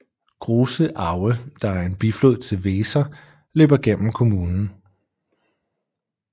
Große Aue der er en biflod til Weser løber gennem kommunen